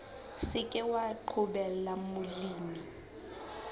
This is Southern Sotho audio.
se ke wa qobella molemi